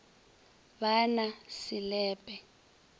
ba na se le pe